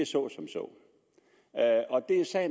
så som så